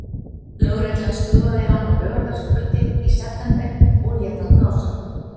Lögreglan stöðvaði hann á laugardagskvöldi í september og lét hann blása.